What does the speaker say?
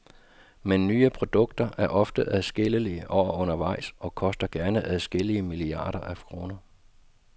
Men nye produkter er ofte adskillige år undervejs, og koster gerne adskillige milliarder af kroner.